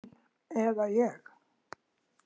Hann eða ég.